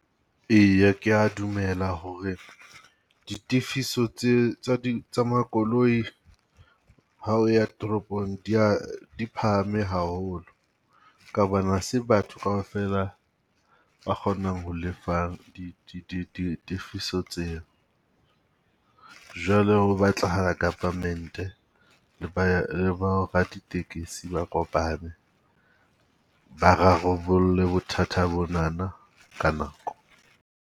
Eya ke ya dumela ho re di tifiso tse tsa di tsa makoloi hao ya toropong di ya di phahame haholo. Ka hobane ha se batho kaofela ba kgonang ho lefa di di di tifiso tseo. Jwale ho batlahala government-e le ba le bo raditekesi ba kopane, ba rarolle bothata bonana ka nako.